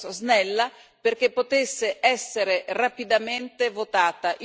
snella perché potesse essere rapidamente votata.